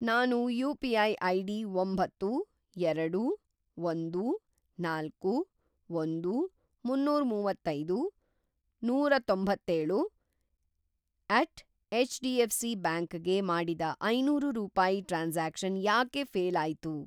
ನಾನು UPI. ID ಒಂಬತ್ತು, ಎರಡು, ಒಂದು, ನಾಲ್ಕು, ಒಂದು, ಮುನ್ನೂರಮುವತ್ತೈದು, ನೂರತೊಂತ್ತೇಳು ಎಟ್ ಎಚ್.ಡಿ.ಎಫ್.ಸಿ ಬ್ಯಾಂಕ್ ಗೆ ಮಾಡಿದ ಐನೂರು ರೂಪಾಯಿ ಟ್ರಾನ್ಸಾಕ್ಷನ್‌ ಯಾಕೆ ಫ಼ೇಲ್‌ ಆಯ್ತು?